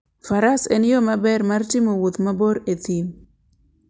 Faras en yo maber mar timo wuoth mabor e thim.